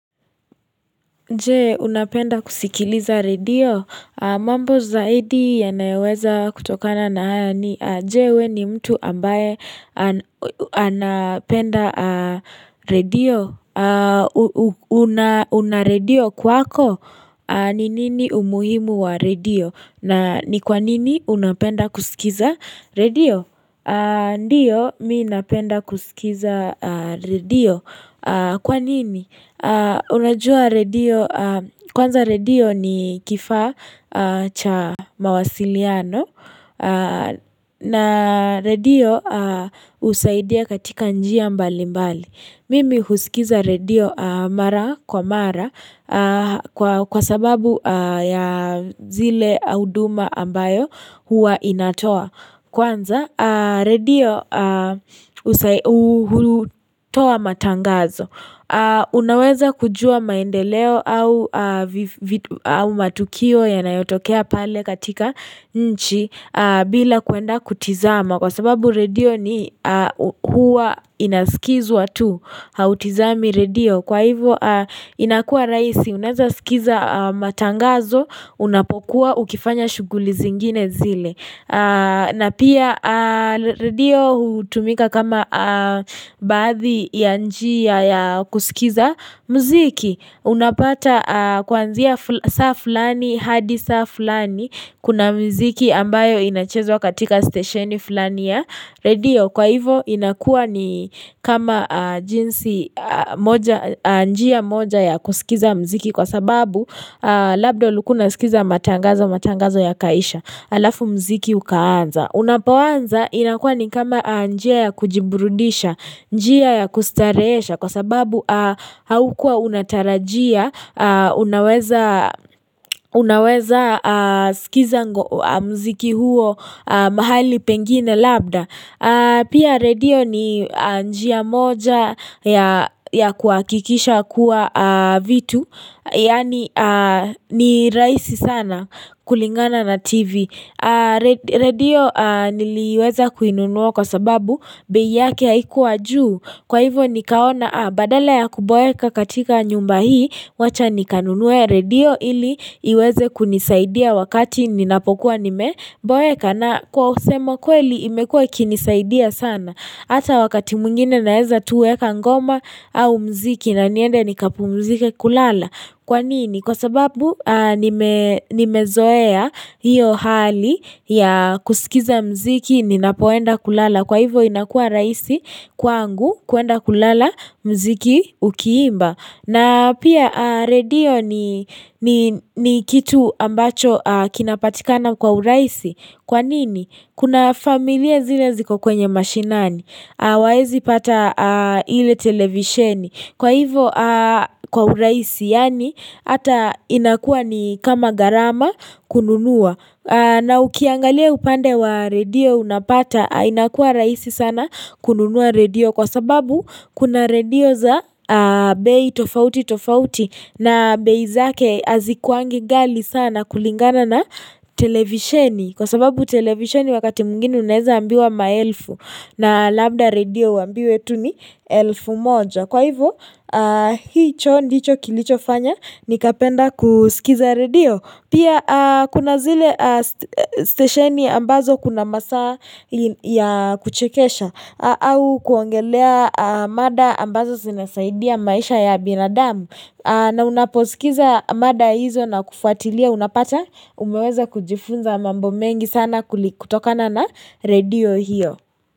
Nje, unapenda kusikiliza radio? Mambo zaidi yanayaweza kutokana na haya ni. Nje, we ni mtu ambaye anapenda radio. Unaredio kwako? Ninini umuhimu wa radio? Na ni kwanini unapenda kusikiza radio? Ndiyo, miinapenda kusikiza redio. Kwa nini? Unajua redio, kwanza redio ni kifa cha mawasiliano na redio usaidia katika njia mbali mbali. Mimi husikiza redio mara kwa mara kwa sababu ya zile auduma ambayo huwa inatoa. Kwanza radio utoa matangazo Unaweza kujua maendeleo au matukio ya nayotokea pale katika nchi bila kuenda kutizama Kwa sababu radio ni huwa inaskizu watu Hautizami radio Kwa hivyo inakua raisi Unaweza skiza matangazo Unapokuwa ukifanya shuguli zingine zile na pia radio utumika kama bathi ya njia ya kusikiza mziki. Unapata kwanzia saa fulani hadi saa fulani kuna mziki ambayo inachezo katika stasheni fulani ya radio. Kwa hivo inakua ni kama jinsi njia moja ya kusikiza mziki kwa sababu labdo lukuna sikiza matangazo matangazo ya kaisha. Alafu mziki ukaanza. Unapawanza inakua ni kama njia ya kujiburudisha, njia ya kustareesha kwa sababu haukua unatarajia, unaweza skiza mziki huo mahali pengine labda. Pia radio ni njiya moja ya kuakikisha kuwa vitu Yani ni raisi sana kulingana na tv radio niliweza kuinunuwa kwa sababu Beyiake ya ikuwa juu Kwa hivyo nikaona badala ya kuboeka katika nyumba hii Mwacha nikanunuwe radio ili iweze kunisaidia wakati ninapokuwa nimeboeka na kwa usema kweli imekuwe kinisaidia sana, ata wakati mungine naeza tuwe kangoma au mziki na niende nikapumzike kulala. Kwa nini? Kwa sababu nimezoea hiyo hali ya kusikiza mziki ninapoenda kulala. Kwa hivo inakua raisi kwa angu kuenda kulala mziki ukiimba. Na pia radio ni kitu ambacho kinapatikana kwa uraisi. Kwa nini? Kuna familia zile ziko kwenye mashinani. Waezi pata ile televisheni. Kwa hivo kwa uraisi yani ata inakua ni kama garama kununua. Na ukiangalia upande wa radio unapata inakua raisi sana kununua radio kwa sababu kuna radio za bei tofauti tofauti na bei zake azikuwangi gali sana kulingana na televisheni. Kwa sababu televisheni wakati mgini uneza ambiwa maelfu na lambda radio ambiwe tu ni elfu moja. Kwa hivyo hicho kilicho fanya nikapenda kusikiza radio. Pia kuna zile stesheni ambazo kuna masa ya kuchekesha au kuangelea mada ambazo sinasaidia maisha ya binadamu na unaposikiza mada hizo na kufuatilia unapata umeweza kujifunza mambo mengi sana kutokana na radio hiyo.